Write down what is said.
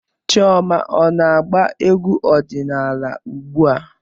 Chioma ọ na-agba egwú ọdịnaala ugbu a?